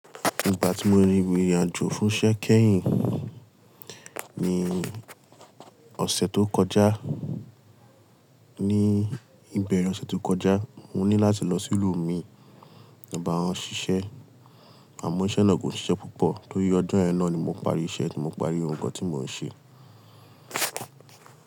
Ìgbà tí mo rí ìrìn àjò fún iṣẹ́ kẹ́yìn ní ọ̀sẹ̀ tó kọjá ní ìbẹ̀rẹ̀ ọ̀sẹ̀ tó kọjá, mo ní láti lọ sí ìlú mi. Mo ń ba won ṣiṣẹ́, àmọ́ iṣẹ́ náà kò i ṣiṣẹ́ púpọ̀ torí ọjọ́ yen na ni mo parí iṣẹ́ tí mo parí ohun kan tí mò ń ṣe.